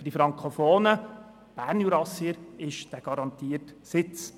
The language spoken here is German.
Für die frankofonen Bernjurassier ist dieser garantierte Sitz.